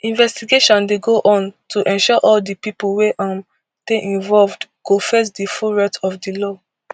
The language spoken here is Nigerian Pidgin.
investigation dey go on to ensure all di pipo wey um dey involved go face di full wrath of di law